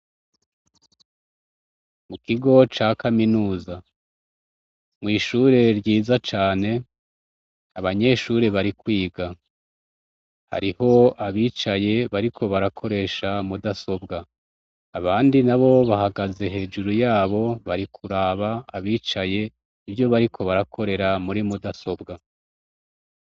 Mukigo ca kaminuza, mw’ishure ryiza cane abanyeshure bari kwiga, hariho abicaye bariko barakoresha mudasobwa abandi nabo bahagaze hejuru yabo bari kuraba abicaye ivyo bariko barakorera muri mudasobwa.